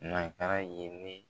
ye ne.